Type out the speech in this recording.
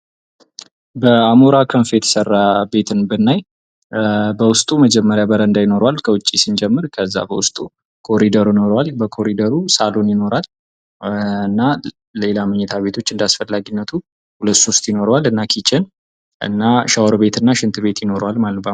በአሞራ ክንፍ የተሰራ ቤትን ብናይ በውስጡ መጀመሪያ በረንዳ ይኖረዋል ከዛ ከዉጭ ስንጀምር ከዛ በዉስጡ ኮሪደር ይኖረዋል በኮርደሩ ሳሎን ይኖራል እና ሌላ መኝታ ቤቶች እንዳስፈላጊነቱ ሁለት ሶስት ይኖራል እና ኪችን እና ሻወር ቤት እና ሽንት ቤት ይኖረዋል ማለት ነው::